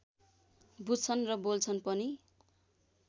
बुझ्छन् र बोल्छन् पनि